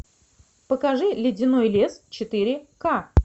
покажи ледяной лес четыре к